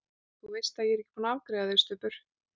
ÞÚ VEIST AÐ ÉG ER EKKI BÚINN AÐ AFGREIÐA ÞIG, STUBBUR!